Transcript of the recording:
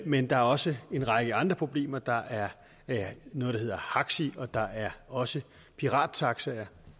men der er også en række andre problemer der er noget der hedder haxi og der er også pirattaxaer